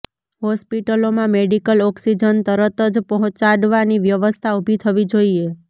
હોસ્પિટલોમાં medical oxygen તરત જ પહોંચાડવાની વ્યવસ્થા ઊભી થવી જોઈએ